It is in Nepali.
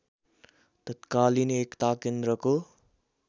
तत्कालीन एकता केन्द्रको